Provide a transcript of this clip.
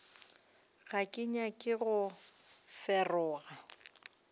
ga ke nyake go feroga